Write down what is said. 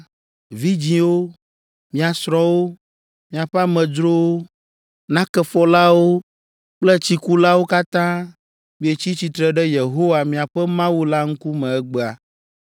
vidzĩwo, mia srɔ̃wo, miaƒe amedzrowo, nakefɔlawo kple tsikulawo katã mietsi tsitre ɖe Yehowa, miaƒe Mawu la ŋkume egbea.